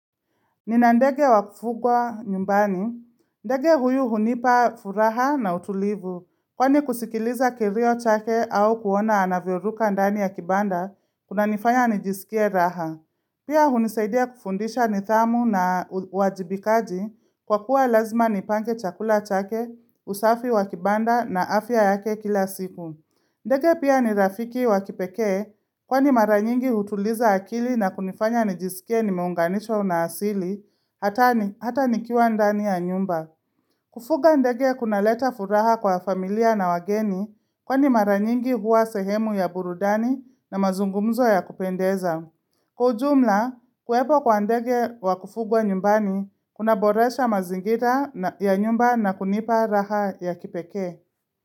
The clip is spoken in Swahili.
Nina ndege wa kufugwa nyumbani. Ndege huyu hunipa furaha na utulivu. Kwani kusikiliza kirio chake au kuona anavyoruka ndani ya kibanda, kunanifanya nijisikie raha. Pia hunisaidia kufundisha nidhamu na wajibikaji kwa kuwa lazima nipange chakula chake, usafi wa kibanda na afya yake kila siku. Ndege pia ni rafiki wa kipekee, kwani mara nyingi hutuliza akili na kunifanya nijisikie nimeunganishwo na asili, hata nikiwa ndani ya nyumba. Kufuga ndege kunaleta furaha kwa familia na wageni, kwani mara nyingi huwa sehemu ya burudani na mazungumzo ya kupendeza. Kwa ujumla, kuwepo kwa ndege wa kufugwa nyumbani, kuna boresha mazingira ya nyumba na kunipa raha ya kipekee.